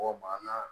Mɔgɔ banna